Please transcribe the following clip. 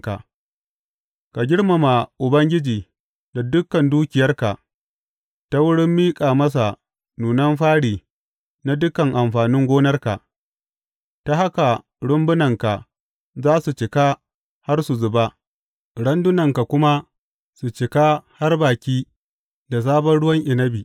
Ka girmama Ubangiji da dukan dukiyarka, ta wurin miƙa masa nunan fari na dukan amfanin gonarka; ta haka rumbunanka za su cika har su zuba, randunanka kuma su cika har baki da sabon ruwan inabi.